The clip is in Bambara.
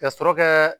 Ka sɔrɔ kɛ